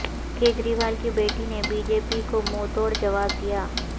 کجریوال کی بیٹی نے بی جے پی کو منھ توڑ جواب دیا